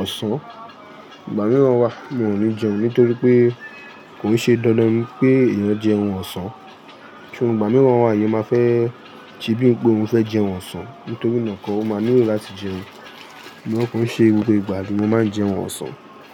ọ̀sán. Ìgbà mìíràn wa mi ò ní jẹun nítorí pé kò ṣe dandan ni pé èèyàn jẹun ọ̀sán. Ṣo ìgbà mìí náà wa èèyàn máa fẹ́ ti bíi pé óún fẹ́ jẹ ohun ọ̀sán nítorí nà kọ́ ó máa ní lo latí jẹun. Ṣugbọn ko i ṣe gbogbo ìgbà ni mo máa ń jẹun ọ̀sán.